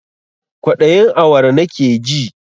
Kwaɗayin awara nakeji